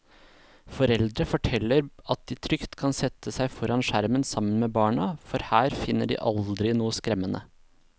Foreldre forteller at de trygt kan sette seg foran skjermen sammen med barna, for her finner de aldri noe skremmende.